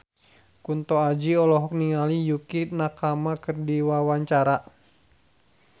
Kunto Aji olohok ningali Yukie Nakama keur diwawancara